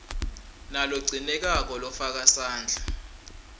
nalogcinekako lofaka sandla